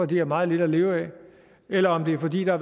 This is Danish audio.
de har meget lidt at leve af eller om det er fordi der